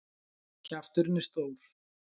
Kjafturinn er stór.